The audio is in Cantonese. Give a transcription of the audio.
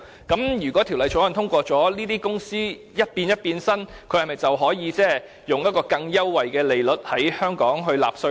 因此，一旦《條例草案》獲得通過，這些公司是否稍作變身便可以在香港以較優惠的稅率納稅？